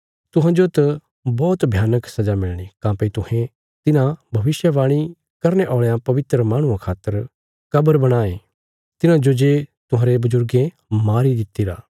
तुहांजो त बौहत भयानक सजा मिलणी काँह्भई तुहें तिन्हां भविष्यवाणी करने औल़यां पवित्र माहणुआं खातर कब्र बणायें तिन्हाजो जे तुहांरे बजुर्गें मारी दितिरा